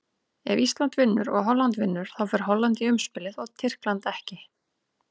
Ef Ísland vinnur og Holland vinnur, þá fer Holland í umspilið og Tyrkland ekki.